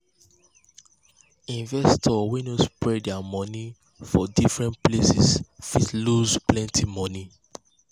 investors wey no spread their money for different places fit lose plenty money.